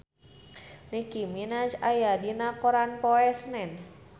Nicky Minaj aya dina koran poe Senen